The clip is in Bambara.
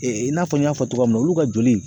Ee i n'a fɔ n y'a fɔ cogoya min na olu ka joli.